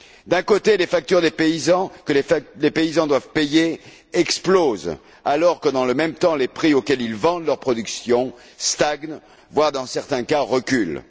D'un côté, les factures que les paysans doivent payer explosent alors que, dans le même temps, les prix auxquels ils vendent leur production stagnent, voire dans certains cas, reculent.